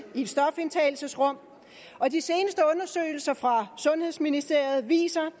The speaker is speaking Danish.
et stofindtagelsesrum og de seneste undersøgelser fra sundhedsministeriet viser